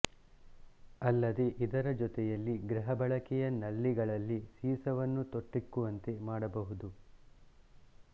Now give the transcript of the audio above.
ಅಲ್ಲದೇ ಇದರ ಜೊತೆಯಲ್ಲಿ ಗೃಹಬಳಕೆಯ ನಲ್ಲಿಗಳಲ್ಲಿ ಸೀಸವನ್ನು ತೊಟ್ಟಿಕ್ಕುವಂತೆ ಮಾಡಬಹುದು